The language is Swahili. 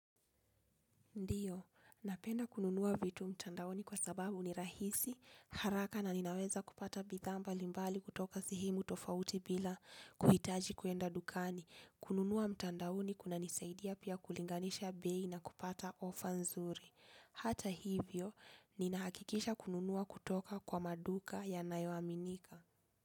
Ndiyo, napenda kununua vitu mtandaoni kwa sababu ni rahisi, haraka na ninaweza kupata bidhaa mbalimbali kutoka sehemu tofauti bila kuhitaji kwenda dukani. Kununua mtandaoni kunanisaidia pia kulinganisha bei na kupata ofa nzuri. Hata hivyo, ninahakikisha kununua kutoka kwa maduka yanayoaminika.